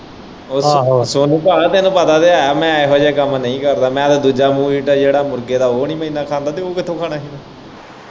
ਉਹ ਆਹੋ ਸੋਨੂੰ ਭਾ ਤੈਨੂੰ ਪਤਾ ਤੇ ਹੈ ਮੈਂ ਇਹੋ ਜਿਹੇ ਕੰਮ ਨਹੀਂ ਕਰਦਾ ਮੈਂ ਹਲੇ ਦੂਜਾ ਮੀਟ ਹੈ ਜਿਹੜਾ ਮੁਰਗੇ ਦਾ ਉਹ ਨਹੀਂ ਮੈਂ ਇਂਨਾਂ ਖਾਂਦਾ ਤੇ ਇਹ ਕਿੱਥੋਂ ਖਾਣਾ ਹੀ।